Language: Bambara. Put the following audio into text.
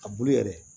A bulu yɛrɛ